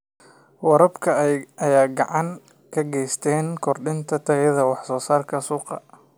Waraabka ayaa gacan ka geysta kordhinta tayada wax soo saarka suuqa.